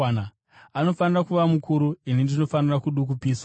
Anofanira kuva mukuru; ini ndinofanira kudukupiswa.